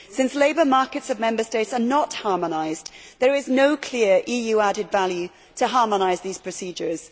Since labour markets of Member States are not harmonised there is no clear EU added value to harmonise these procedures.